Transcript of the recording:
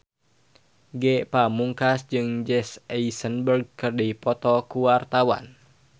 Ge Pamungkas jeung Jesse Eisenberg keur dipoto ku wartawan